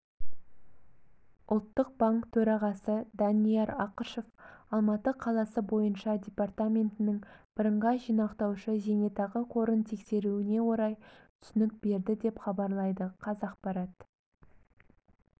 ұлттық банк төрағасы данияр ақышев алматы қаласы бойынша департаментінің бірыңғай жинақтаушы зайнетақы қорын тексеруіне орай түсінік берді деп хабарлайды қазақпарат